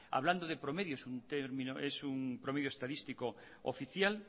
hablando de promedios es un promedio estadístico oficial